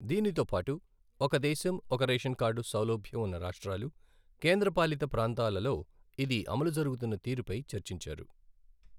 దీనితోపాటు, ఒక దేశం, ఒక రేషన్ కార్డు సౌలభ్యం ఉన్న రాష్ట్రాలు, కేంద్రపాలిత ప్రాంతాలలో, ఇది అమలు జరుగుతున్న తీరుపై చర్చించారు.